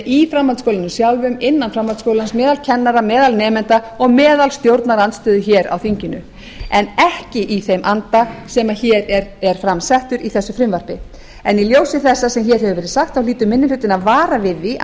í framhaldsskólanum sjálfum innan framhaldsskólans meðal kennara meðal nemenda og meðal stjórnarandstöðu hér á þinginu en ekki í þeim anda sem hér er fram settur í þessu frumvarpi í ljósi þess sem hér hefur verið sagt hlýtur minni hlutinn að vara við því að